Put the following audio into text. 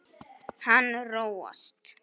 Hann róast.